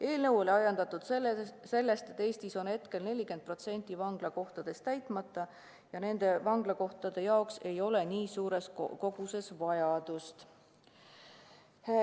Eelnõu oli ajendatud sellest, et Eestis on 40% vanglakohtadest täitmata ja vanglakohtade järele ei ole nii suures koguses vajadust.